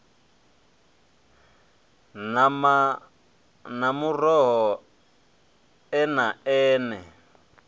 nama na muroho eme eme